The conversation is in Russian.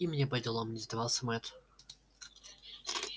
и мне поделом не сдавался мэтт